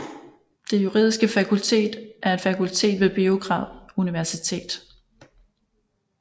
Det Juridiske Fakultet er et fakultet ved Beograd Universitet